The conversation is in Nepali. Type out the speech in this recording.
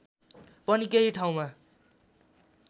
पनि केही ठाउँमा